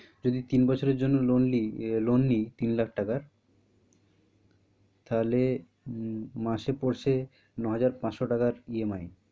যদি তিন বছরের জন্য loan আহ loan নিই তিন লাখ টাকার তা হলে মাসে পরছে নয় হাজার পাঁচশো টাকার EMI